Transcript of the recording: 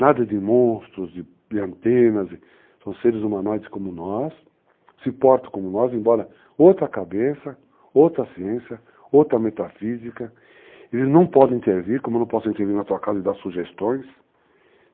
Nada de monstros, de antenas, são seres humanoides como nós, se portam como nós, embora outra cabeça, outra ciência, outra metafísica, eles não podem intervir, como eu não posso intervir na tua casa e dar sugestões...